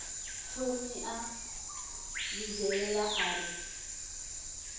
thomi a vhidzelela a ri